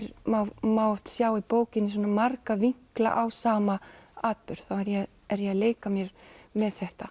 má má oft sjá í bókinni vinkla á sama atburð þá er ég er ég að leika mér með þetta